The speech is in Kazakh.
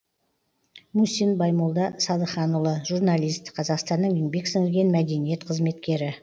мусин баймолда садыханұлы журналист қазақстанның еңбек сіңірген мәдениет қызметкері